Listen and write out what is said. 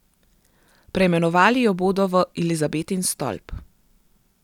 Preimenovali jo bodo v Elizabetin stolp.